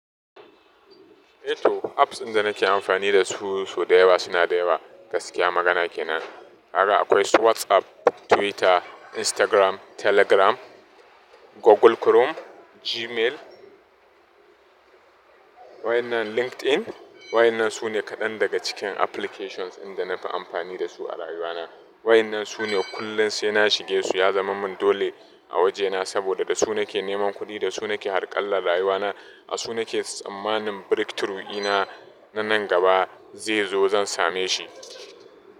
Eh to apps inda nake amfani da su, su da yawa suna da yawa gaskiya magana kenan. Haka akwai su WhatsApp, Twitter, Instagram, Telegram, Google Chrome, Gmail waɗannan LinkedIn. Wa'innan su ne kaɗan daga cikin applications inda na fi amfani da su a rayuwana. Waɗannan su ne kullum sai na shige su. Ya zama min dole a wajena saboda da su nake neman kuɗi, da su nake harƙalla rayuwana. A su nake tsammanin breakthrough ina na nan gaba zai zo zan same shi.